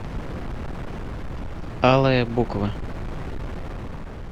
алая буква